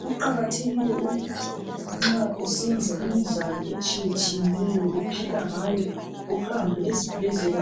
Kuqakathekile ukuthi nxa usenza imidlalo etshiyetshiyeneyo uphila ngayo uhambe ezibhedlela